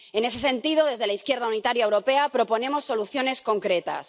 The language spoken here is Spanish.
En ese sentido, desde la Izquierda Unitaria Europea proponemos soluciones concretas.